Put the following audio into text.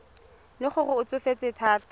le gore o tsofetse thata